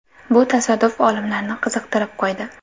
Bu tasodif olimlarni qiziqtirib qo‘ydi.